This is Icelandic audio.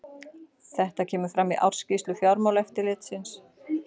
Þetta kemur fram í ársskýrslu Fjármálaeftirlitsins